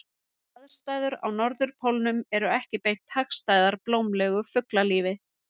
Aðstæður á norðurpólnum eru ekki beint hagstæðar blómlegu fuglalífi.